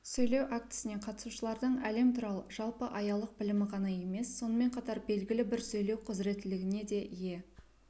сөйлеу актісіне қатысушылардың әлем туралы жалпы аялық білімі ғана емес сонымен қатар белгілі бір сөйлеу құзыреттілігіне де ие